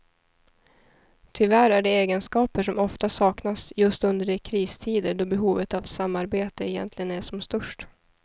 Tyvärr är det egenskaper som ofta saknas just under de kristider då behovet av samarbete egentligen är som störst.